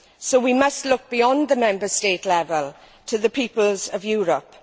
So we must look beyond the Member State level to the peoples of Europe.